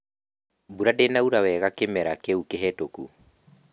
Mbura ndĩnaura wega kĩmera kĩu kĩhĩtũku